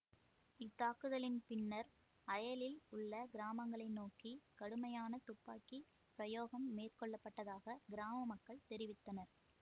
இத்தாக்குதலின் பின்னர் அயலில் உள்ள கிராமங்களை நோக்கி கடுமையான துப்பாக்கி பிரயோகம் மேற்கொள்ளப்பட்டதாக கிராம மக்கள் தெரிவித்தனர்